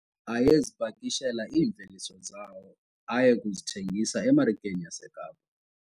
Ayezipakishela iimveliso zawo aye kuzithengisa emarikeni yaseKapa.